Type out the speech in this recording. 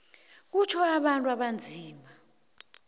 kutjho abantu abanzima